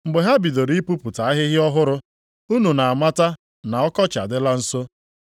Mgbe ha bidoro ipupụta ahịhịa ọhụrụ, unu na-amata na ọkọchị adịla nso.